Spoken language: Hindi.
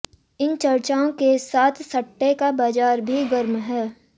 इन चर्चाओं के साथ सट्टे का बाजार भी गर्म है